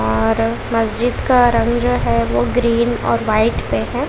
और मस्जिद का रंग जो है वो ग्रीन और व्हाइट पे है।